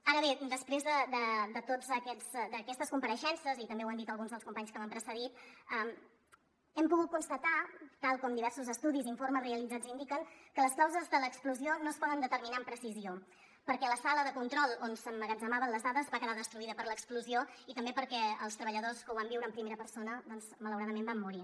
ara bé després d’aquestes compareixences i també ho han dit alguns dels companys que m’han precedit hem pogut constatar tal com diversos estudis i informes realitzats indiquen que les causes de l’explosió no es poden determinar amb precisió perquè la sala de control on s’emmagatzemaven les dades va quedar destruïda per l’explosió i també perquè els treballadors que ho van viure en primera persona malauradament van morir